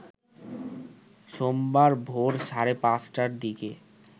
সোমবার ভোর সাড়ে ৫টার দিকে